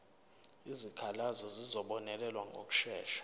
izikhalazo zizobonelelwa ngokushesha